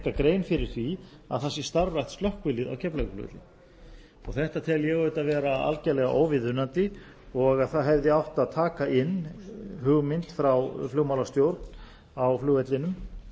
grein fyrir því að það sé starfrækt slökkvilið á keflavíkurflugvelli þetta tel ég auðvitað vera algjörlega óviðunandi og að það hefði átt að taka inn hugmynd frá flugmálastjórn á flugvellinum